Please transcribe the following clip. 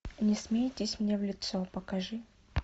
не смейтесь мне в лицо покажи